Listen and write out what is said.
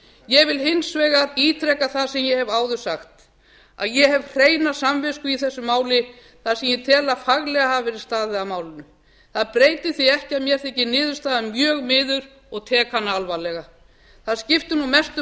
ég vil hins vegar ítreka það sem ég hef áður sagt ég hef hreina samvisku í þessu máli þar sem ég tel að faglega hafi verið staðið að málinu það breytir því ekki að mér þykir niðurstaðan mjög miður og tek hana alvarlega það skiptir nú mestu